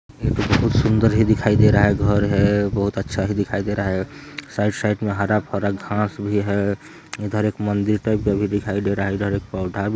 बहुत सुंदर ही दिखाई दे रहा है घर है बहोत अच्छा ही दिखाई दे रहा है साइड साइड में हरा-भरा घास भी है इधर एक मंदिर टाइप का भी दिखाई दे रहा है इधर एक पौधा भी है।